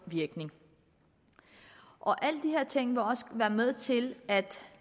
virkning alle de her ting vil også være med til at